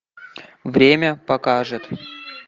время покажет